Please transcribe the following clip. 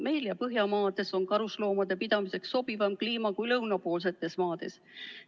Meil ja Põhjamaades on karusloomade pidamiseks sobivam kliima kui lõunapoolsetes maades.